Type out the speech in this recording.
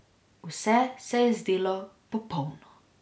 Vse se je zdelo popolno ...